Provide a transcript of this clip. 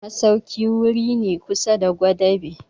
masauki wuri ne kusa da gwadabe.